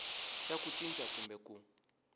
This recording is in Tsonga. xa ku cinca kumbe ku